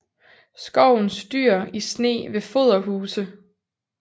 Skovens dyr i sne ved foderhuse